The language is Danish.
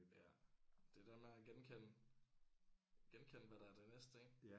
Ja det der med at genkende genkende hvad der er det næste ik